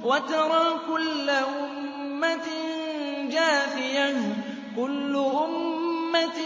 وَتَرَىٰ كُلَّ أُمَّةٍ جَاثِيَةً ۚ كُلُّ أُمَّةٍ